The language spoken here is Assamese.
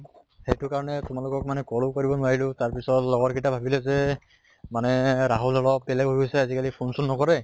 সেইটো কাৰণে তোমালোকক মানে call ও কৰিব নোৱাৰিলো, তাৰ পিছত লগত কিটা ভাবিলে যে মানে ৰাহুল অলপ বেলেগ হৈ গৈছে, phone চোন নকৰে